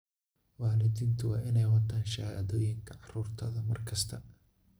Waalidiintu waa inay wataan shahaadooyinka carruurtooda mar kasta.